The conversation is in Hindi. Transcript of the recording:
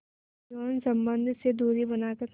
यौन संबंध से दूरी बनाकर